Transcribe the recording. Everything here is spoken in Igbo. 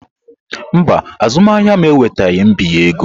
Mba, azụmahịa m enwetaghị mbinye ego.